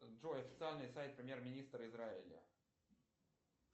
джой официальный сайт премьер министра израиля